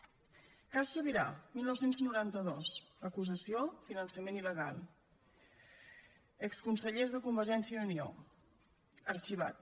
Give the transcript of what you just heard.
cas subirà dinou noranta dos acusació finançament il·legal exconsellers de convergència i unió arxivat